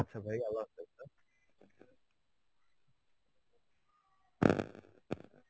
আচ্ছা ভাই. Arbi